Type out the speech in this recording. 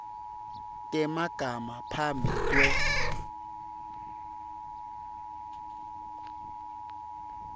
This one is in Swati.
temagama phambi kwe